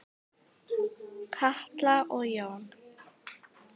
Katla og Jón.